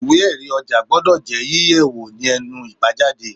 Ìwé erí ọjà gbọ́dọ̀ yí yẹ̀ ní ẹnu ibajade